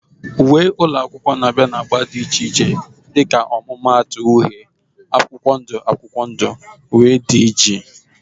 Uwe ụlọ akwụkwọ na-abịa na agba dị iche iche dịka ọmụmaatụ uhie, akwụkwọ ndụ akwụkwọ ndụ, wdg